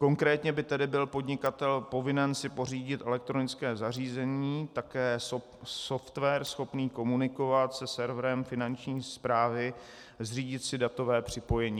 Konkrétně by tedy byl podnikatel povinen si pořídit elektronické zařízení, také software schopný komunikovat se serverem Finanční správy, zřídit si datové připojení.